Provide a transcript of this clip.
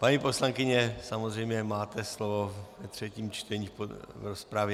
Paní poslankyně, samozřejmě máte slovo ve třetím čtení v rozpravě.